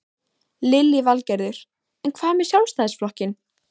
Lillý Valgerður: En hvað með Sjálfstæðisflokkinn?